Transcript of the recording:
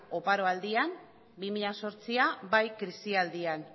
oparoaldian bi mila zortzian bai krisialdian